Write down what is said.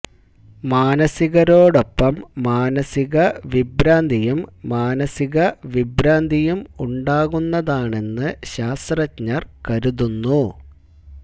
മാനസികരോടൊപ്പം മാനസിക വിഭ്രാന്തിയും മാനസിക വിഭ്രാന്തിയും ഉണ്ടാകുന്നതാണെന്ന് ശാസ്ത്രജ്ഞർ കരുതുന്നു